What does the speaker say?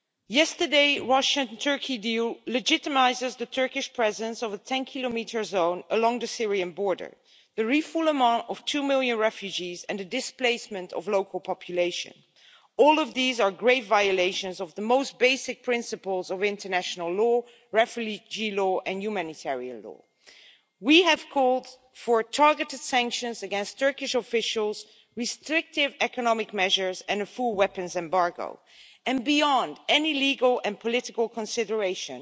Yesterday's Russia Turkey deal legitimises the Turkish presence of a 10 kilometre zone along the Syrian border, the refoulement of two million refugees and the displacement of the local population. All of these are grave violations of the most basic principles of international law, refugee law and humanitarian law. We have called for targeted sanctions against Turkish officials, restrictive economic measures and a full weapons embargo, and beyond any legal and political consideration,